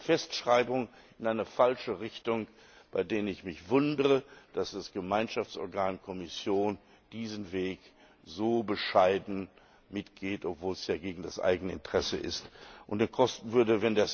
Festschreibungen in eine falsche Richtung, bei denen ich mich wundere, dass das Gemeinschaftsorgan Kommission diesen Weg so bescheiden mitgeht, obwohl es ja gegen das eigene Interesse ist und Geld kosten würde.